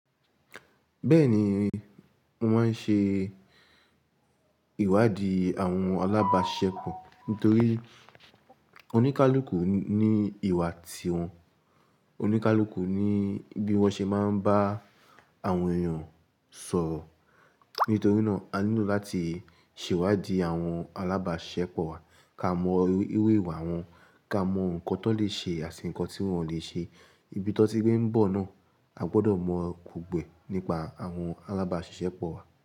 Bẹ́ẹ̀ ni, mo máa ń ṣe ìwádìí àwọn alábàáṣisẹ̀pọ̀, nítorí oníkálukú ní ìwà tiwọn, oníkálukú ní bí wọ́n ṣe máa ń bá àwọn èèyàn sọ̀rọ̀. Nítorí náà, a nílò láti ṣèwádìí àwọn alábàáṣisẹ́pọ̀ wa, ká mọ iru ìwà wọn, ká mọ ǹkan tiwon lè ṣe àti ǹkan tí wọ́n lè ṣe. Ibi tón ti gbé ń bọ̀ náà, a gbọdọ̀ mọ̀ọ́ gbogbo ẹ́ nípa àwọn alábáàṣiṣẹ́ pọ̀ wa.